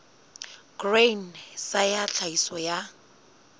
grain sa ya tlhahiso ya